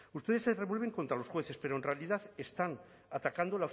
ustedes se revuelven contra los jueces pero en realidad están atacando